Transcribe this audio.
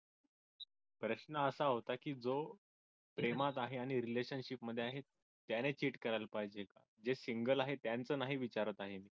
प्रश्न असा होता की जो प्रेमात आहे आणि relationship मध्ये आहे त्याने cheat करायला पाहिजे जे single आहे त्यांचं नाही विचारत आहे हो